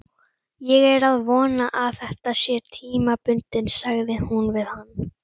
Ég er að vona að þetta sé tímabundið, sagði hún við hann.